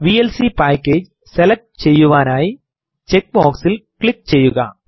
VLC package select ചെയ്യുവാനായി check box ൽ click ചെയ്യുക